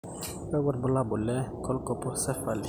kakwa irbulabol le colpocephaly?